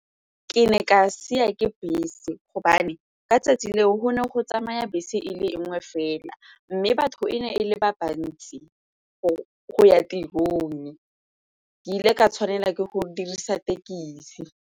Ke ne ka sia ke bese gobane ka 'tsatsi leo go ne go tsamaya bese e le nngwe fela mme batho e ne e le ba bantsi go ya tirong. Ke ile ka tshwanela ke go dirisa tekesi.